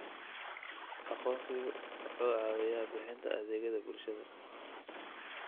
Aqoonsigu waxa uu caawiyaa bixinta adeegyada bulshada.